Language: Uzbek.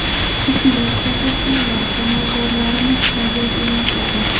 Tibbiyot, kasalxonalar, amaldorlarimiz tayyor emas ekan.